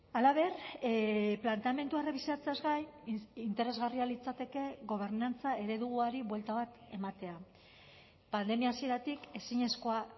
halaber planteamendua errebisatzeaz gain interesgarria litzateke gobernantza ereduari buelta bat ematea pandemia hasieratik ezinezkoa